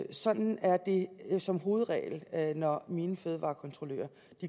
ind sådan er det som hovedregel når mine fødevarekontrollører